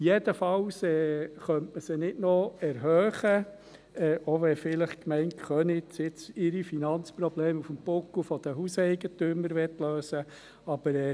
Jedenfalls könnte man sie nicht noch erhöhen, selbst wenn die Gemeinde Köniz ihre Finanzprobleme auf dem Buckel der Hauseigentümer lösen möchte.